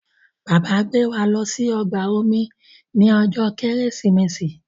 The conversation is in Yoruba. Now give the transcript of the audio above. Bàbá ngbé wá ló sì ọgbà omi ní ojó Kérésìmesì.